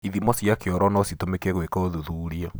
Ithimo cia kĩoro no citũmĩke gwĩka ũthuthuria.